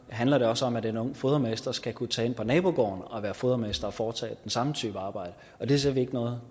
handler det også om at en ung fodermester skal kunne tage ind på nabogården og være fodermester og foretage den samme type arbejde og det ser vi ikke noget